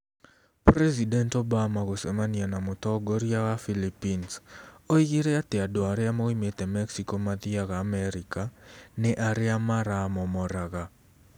President Obama gũcemania na mũtongoria wa Philippines Oigire atĩ andũ arĩa moimĩte Mexico mathiaga Amerika nĩ "arĩa maramomoraga".